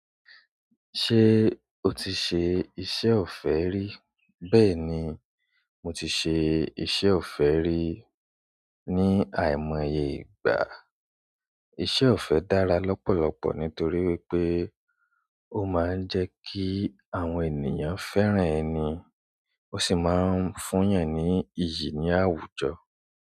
Ṣé o ti ṣe iṣẹ́ ọ̀fẹ́ rí? Bẹ́ẹ̀ ni, mo ti ṣe iṣẹ́ ọ̀fẹ́ rí ní àìmọye ìgbà. Iṣẹ́ ọ̀fẹ́ dára lọ́pọ̀lọpọ̀ nítorí wípé ó máa ń jẹ́ kí àwọn ènìyàn fẹ́ràn ẹni, ó sì máa ń fún yàn ní iyì láwùjọ.